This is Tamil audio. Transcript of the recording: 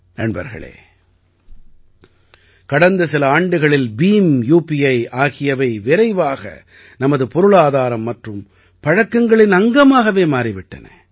நண்பர்களே கடந்த சில ஆண்டுகளில் பீம் யூபிஐ ஆகியவை விரைவாக நமது பொருளாதாரம் மற்றும் பழக்கங்களின் அங்கமாக மாறிவிட்டன